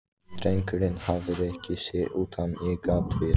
Drengurinn hafði rekið sig utan í gaddavír.